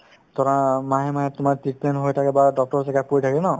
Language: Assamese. ধৰা মাহে মাহে তোমাৰ treatment হৈ থাকে বা doctor ৰে check up কৰি থাকে ন